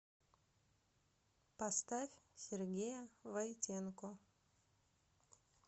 поставь сергея войтенко